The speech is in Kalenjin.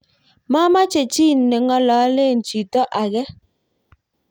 mameche chii ne ng'ololen chito age